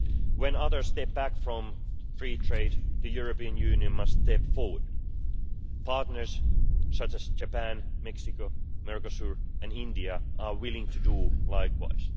When others step back from free trade, the European Union must step forward. Partners such as Japan, Mexico, Mercosur and India are willing to do likewise.